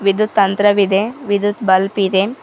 ವಿದ್ಯುತ್ ತಂತ್ರವಿದೆ ವಿದ್ಯುತ್ ಬಲ್ಬ್ ಇದೆ.